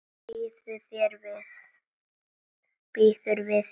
Býður við þér.